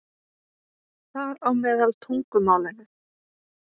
Þar á meðal tungumálinu.